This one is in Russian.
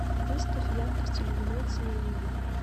выставь яркость иллюминации на минимум